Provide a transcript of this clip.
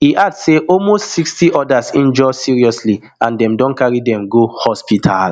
e add say almost sixty odas injure seriously and dem don carry dem go hospital